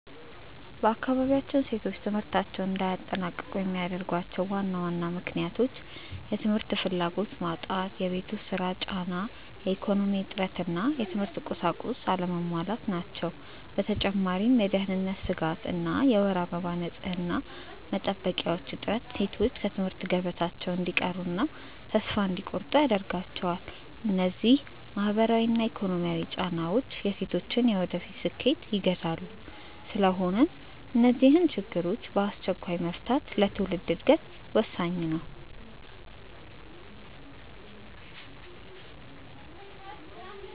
በአካባቢያችን ሴቶች ትምህርታቸውን እንዳያጠናቅቁ የሚያደርጓቸው ዋና ዋና ምክንያቶች፦ የ ትምህርት ፍላጎት መጣት የቤት ውስጥ ሥራ ጫና፣ የኢኮኖሚ እጥረት እና የትምህርት ቁሳቁስ አለመሟላት ናቸው። በተጨማሪም የደህንነት ስጋት እና የወር አበባ ንፅህና መጠበቂያዎች እጥረት ሴቶች ከትምህርት ገበታቸው እንዲቀሩና ተስፋ እንዲቆርጡ ያደርጋቸዋል። እነዚህ ማህበራዊና ኢኮኖሚያዊ ጫናዎች የሴቶችን የወደፊት ስኬት ይገታሉ። ስለሆነም እነዚህን ችግሮች በአስቸኳይ መፍታት ለትውልድ ዕድገት ወሳኝ ነው።